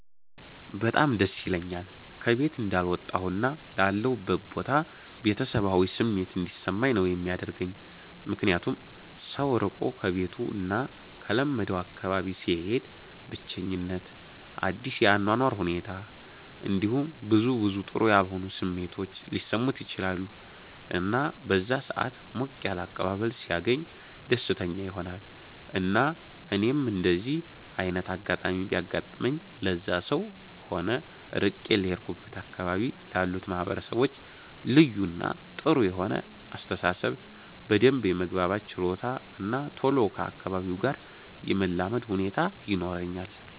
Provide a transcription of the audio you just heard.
በጣም ደስ ይለኛል ከ ቤት እንዳልወጣሁ እና ላለሁበት ቦታ ቤተሰባዊ ስሜት እንዲሰማኝ ነው የሚያደርገኝ ምክንያቱም ሰው ርቆ ከቤቱ እና ከለመደው አካባቢ ሲሄድ ብቸኝት፣ አዲስ የ አኗኗር ሁኔት እንዲሁም ብዙ ብዙ ጥሩ ያልሆኑ ስሜቶች ሊሰሙት ይችላሉ እና በዛ ሰአት ሞቅ ያለ አቀባበል ሲያገኝ ደስተኛ ይሆናል እና እኔም እንደዚ አይነት አጋጣሚ ቢያጋጥመኝ ለዛም ሰው ሆነ ርቄ ለሄድኩበት አካባቢ ላሉት ማህበረሰቦች ልዩ እና ጥሩ የሆነ አስተሳሰብ፣ በደንብ የመግባባት ችሎታ እና ቶሎ ከ አካባቢው ጋር የመላመድ ሁኔታ ይኖረኛል።